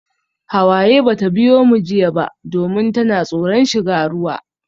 Hawaye bata biyo mu jiya ba domin tana tsoron shiga ruwa.